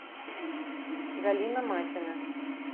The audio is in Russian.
галина матина